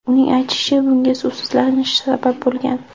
Uning aytishicha, bunga suvsizlanish sabab bo‘lgan.